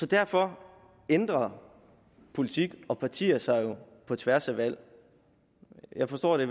derfor ændrer politik og partier sig på tværs af valg jeg forstår at det